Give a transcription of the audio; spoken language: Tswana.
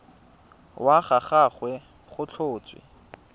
wa ga gagwe go tlhotswe